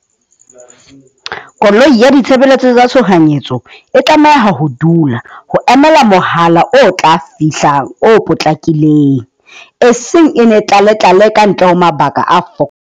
Koloi ya ditshebeletso tsa tshohanyetso e tlameha ho dula ho emela mohala o tla fihlang o potlakileng, e seng e ne tlale tlale ka ntle ho mabaka a .